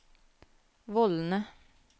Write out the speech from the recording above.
vollene